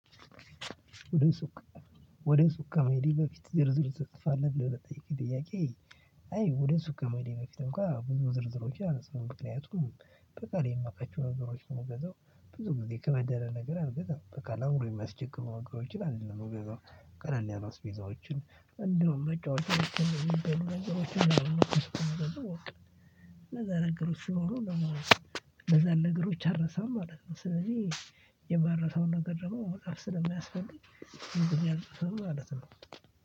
ወደ ሱቅ ከመሄዴ በፊት ዝርዝር ትጥፋለህ? ብለው ለጠየቅኩኝ ጥያቄ አይ ወደ ሱቅ ከመሄዴ በፊት እንኳን ብዙ ዝርዝሮቼ አልጽፍም። ምክንያቱም በቃል የማውቃቸው ነገሮች የሚገዛው ብዙ ጊዜ ከበድ ያለ ነገር አልገዛም። በቃ ላውንድ የሚያስቸግሩ ነገሮችን አይደለም እኮ የምገዛሁ። ቀላል ያላ አስቤዛዎችን እንደውም መጨዎቻዋችን ነው የምገዛው። ነገሮችን ስኖሩ ነው። ለዛ ነገሮች አልረሳም ማለት ነው። ስለዚህ የማረሳውን ነገር ደግሞ መጽሐፍ ስለሚያስፈልግ ማለት ነው።